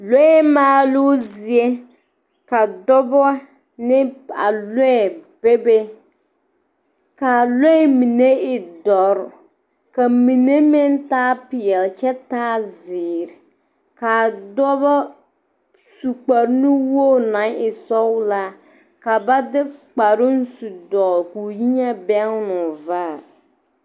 Lɔɛ maaloo zie ka dɔba ne a lɔɛ bebe k,a lɔɛ mine e dɔre ka mine meŋ taa peɛle kyɛ taa zeere k,a fɔba su kparenuwogri naŋ e sɔglaa ka ba de kparoŋ su dɔgle k o yi na bɛnnoo vaare.